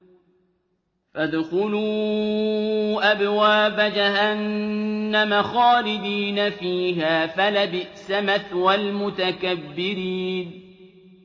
فَادْخُلُوا أَبْوَابَ جَهَنَّمَ خَالِدِينَ فِيهَا ۖ فَلَبِئْسَ مَثْوَى الْمُتَكَبِّرِينَ